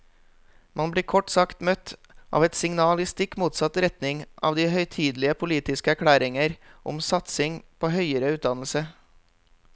Man blir kort sagt møtt av et signal i stikk motsatt retning av de høytidelige politiske erklæringer om satsing på høyere utdannelse.